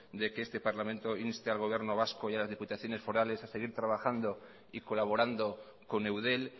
de que este parlamento inste al gobierno vasco y a las diputaciones forales a seguir trabajando y colaborando con eudel